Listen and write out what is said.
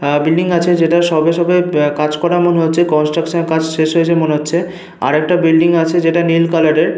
আহ building আছে যেটা সবে সবে কাজ করা এমন হচ্ছে। কনস্ট্রাকশন কাজ শেষ হয়েছে মনে হচ্ছে। আর একটা বিল্ডিং আছে যেটা নীল কালার এর।